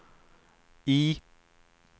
I